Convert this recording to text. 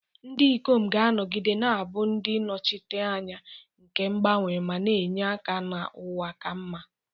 Ndị ikom, ga-anọgide na-abụ ndị nnọchiteanya nke mgbanwe ma na-enye aka na ụwa ka mma.